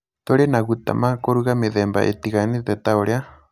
Tũrĩ naguta ma kũruga mĩthemba ĩtiganĩte ta ũrĩa